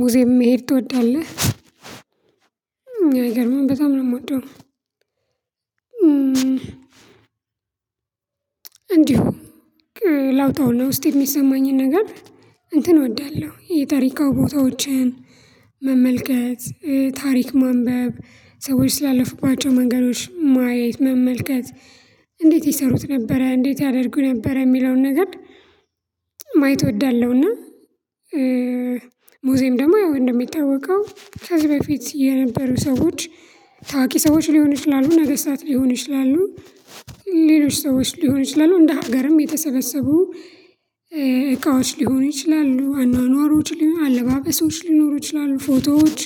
ሙዚየም መሄድ ትወዳለህ? አይገርምም በጣም ነው የምወደው። እንዲሁ ላውጣውና ውስጤ የሚሰማኝን ነገር እንትን እወዳለሁ የታሪካው ቦታዎችን መመልከት ታሪክ ማንበብ ሰዎች ስላለፉባቸው መንገዶች ማየት መመልከት እንዴት ይሰሩት ነበረ እንዴት ያደርጉ ነበረ የሚለውን ነገር ማየት እወዳለሁና። ሙዚየም ደግሞ ያው እንደሚታወቀው ከዚህ በፊት የነበሩ ሰዎች ታዋቂ ሰዎች ሊሆን ይችላል ነገስታት ሊሆን ይችላል። ሌሎች ሰዎች ሊሆን ይችላል እንደ ሀገርም የተሰበሰቡ ሊሆኑ ይችላሉ አኗኗሮች ሊኖሩ አለባበሶች ሊኖሩ ይችላሉ ፎቶዎች።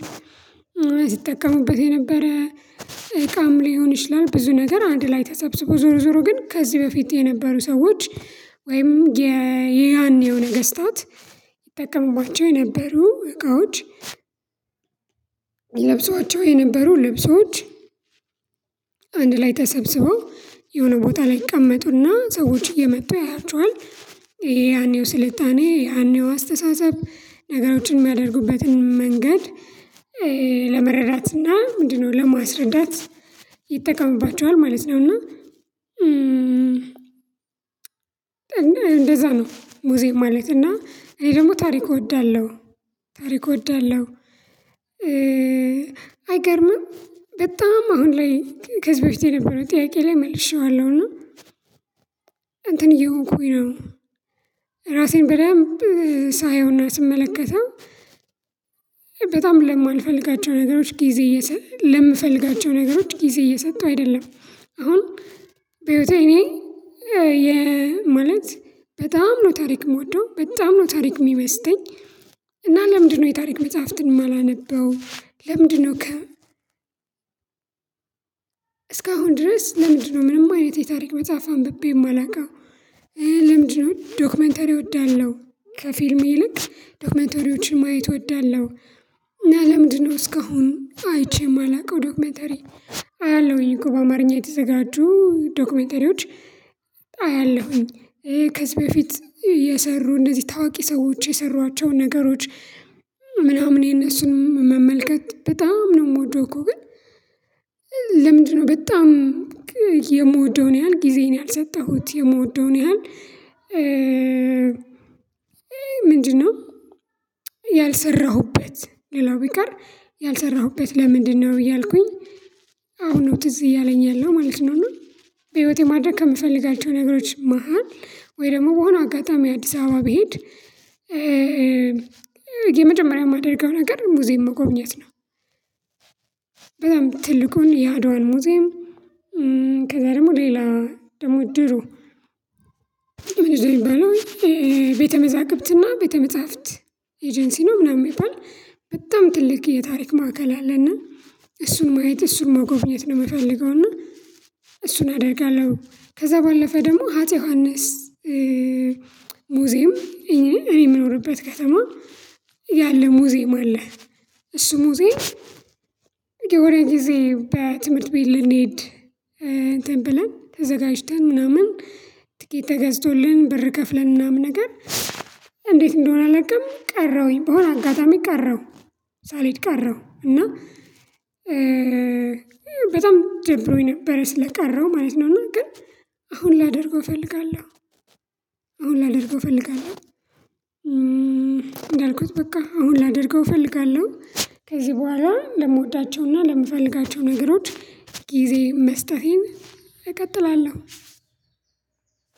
ሲጠቀሙበት የነበረ እቃም ሊሆን ይችላል ብዙ ነገር አንድ ላይ ተሰብስቦ ዞሮ ዞሮ ግን ከዚህ በፊት የነበሩ ሰዎች ወይም የያኔው ነገስታት ይጠቀሙባቸው የነበሩ እቃዎች። ለብሰዋቸው የነበሩ ልብሶች አንድ ላይ ተሰብስበው የሆነ ቦታ ላይ ይቀመጡና ሰዎች እየመጡ ያዩቸዋል። የያኔው ስልጣኔ የያኔው አስተሳሰብ ነገሮችን የሚያደርጉበትን መንገድ ለመረዳት እና ምንድነው ለማስረዳት ይጠቀምባቸዋል ማለት ነው። እና እንደዛ ነው ሙዚየም ማለት እና። እኔ ደግሞ ታሪክ እወዳለሁ ታሪክ እወዳለሁ። አይገርምም በጣም አሁን ላይ ከዚህ በፊት የነበረው ጥያቄ ላይ መልሼዋለሁ እና እንትን እየሆንኩኝ ነው። ራሴን በደንብ ሳየውና ስመለከተው በጣም ለማልፈልጋቸው ነገሮች ጊዜ እየሰ ለምፈልጋቸው ነገሮች ጊዜ እየሰጠሁ አይደለም አሁን በህይወቴ እኔ ማለት በጣም ነው ታሪክ የምወደው በጣም ነው ታሪክ የሚመስጠኝ። እና ለምንድነው የታሪክ መጽሐፍትን የማላነበው? ለምንድነው ከ እስካሁን ድረስ ለምንድነው? ምንም አይነት የታሪክ መጽሐፍ አንብቤ የማላውቀው? ለምንድነው ዶክመንተሪ እወዳለሁ? ከፊልም ይልቅ ዶክመንተሪዎችን ማየት እወዳለሁ። እና ለምንድነው እስካሁን አይቼ የማላውቀው? ዶክመተሪ አያለሁኝ እኮ በአማርኛ የተዘጋጁ ዶክመተሪዎች አያለሁኝ። ከዚህ በፊት የሰሩ እንደዚህ ታዋቂ ሰዎች የሰሯቸውን ነገሮች ምናምን የነሱንም መመልከት በጣም ነው የምወደው። እኮ ግን ለምንድነው? በጣም የምወደውን ያህል ጊዜን ያልሰጠሁት የምወደውን ያህል ምንድነው? ያልሰራሁበት ሌላው ቢቀር ያልሰራሁበት ለምንድነው? እያልኩኝ አሁን ነው ትዝ እያለኝ ያለው ማለት ነው። እና በህይወቴ ማድረግ ከምፈልጋቸው ነገሮች መሃል ወይ ደግሞ በሆነ አጋጣሚ አዲስ አበባ ብሄድ። የመጀመሪያ የማደርገው ነገር ሙዚየም መጎብኘት ነው። በጣም ትልቁን የአድዋን ሙዚየም። ከዛ ደግሞ ሌላ ደግሞ ድሮ ምንድነው? የሚባለው ይሄ መዛግብትና ቤተ መጻፍት ኤጀንሲ ነው ምናምን የሚባል በጣም ትልቅ የታሪክ ማዕከል አለና። እሱን ማየት እሱን ማጎብኘት ነው የምፈልገውና እሱን አደርጋለሁ። ከዛ ባለፈ ደግሞ ሀጼ ዮሐንስ ሙዚየም እኔ የምኖርበት ከተማ ያለ ሙዚየም አለ። እሱ ሙዚየም የሆነ ጊዜ በትምህርት ቤት ልንሄድ እንትን ብለን ተዘጋጅተን ምናምን ትኬት ተገዝቶልን ብር ከፍለን ምናምን ነገር። እንዴት እንደሆነ አላውቅም። ቀረሁኝ በሆነ አጋጣሚ ቀረሁ ሳልሄድ ቀረሁ እና። በጣም ደብሮኝ ነበር ስለቀረሁ ማለት ነው። ግን አሁን ላደርገው እፈልጋለሁ። አሁን ላደርገው እፈልጋለሁ። እንዳልኩት በቃ አሁን ላደርገው እፈልጋለሁ ከዚህ በኋላ ለምወዳቸውና ለምፈልጋቸው ነገሮች ጊዜ መስጠቴን እቀጥላለሁ።